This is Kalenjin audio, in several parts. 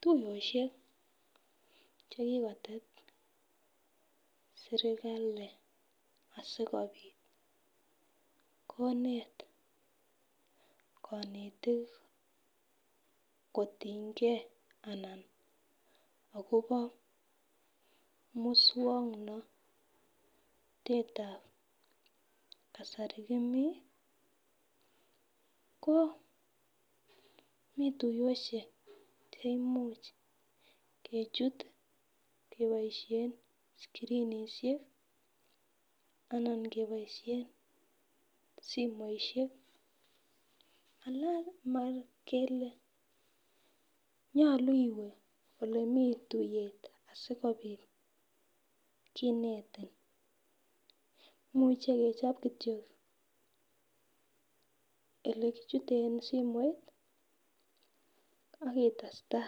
Tuyoshek chekikotet sirkali asikopit konet konetik kotingee ana akobo muswoknotetab kasari komii ko mii tuyoshek che imuch kochut keboishen screenishek anan keboishen somoishek alan mokele nyolu iwee olemii tuyet sikopit kinetin imuch kechop kityok ole kichute en simoit ak itesta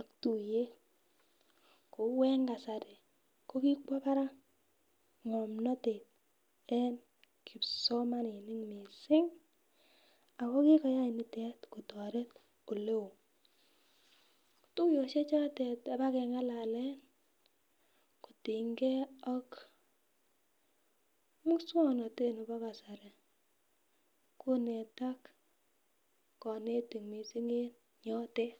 ak tuyet, kou en kasari ko kikwo barak ngomnotet en kipsomaninik missing ako kikoyai nitet kotoret oleo . Tuyoshek chotet abakengalalen kotingee ak muswoknotet nebo kasari konetak konetik missing en yotet.